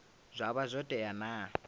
zwa vha zwo tea na